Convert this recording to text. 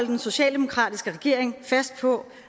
den socialdemokratiske regering fast på